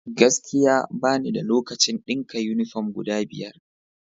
Gaskiya! Bani da lokacin dinka yunifom guda biyar.